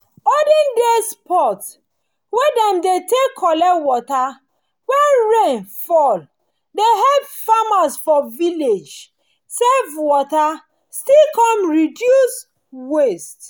olden days pot wey dem dey take collect water when rain fall dey help farmers for village save water still come reduce waste